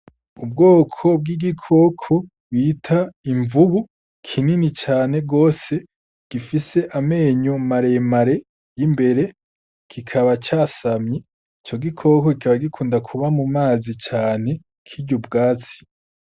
Ubwoko bw'igikoko bita imvubu kinini cane gose gifise amenyo mare mare imbere kikaba casamye. Ico gikoko kikaba gikunda kuba mumazi cane kirya ubwatsi.